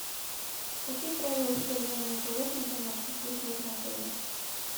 какие правила содержания животных домашних есть в этом отеле